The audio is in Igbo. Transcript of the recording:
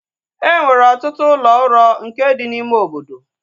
Enwere ọtụtụ ụlọ uro nke dị n'ime obodo